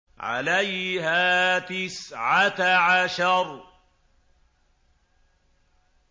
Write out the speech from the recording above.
عَلَيْهَا تِسْعَةَ عَشَرَ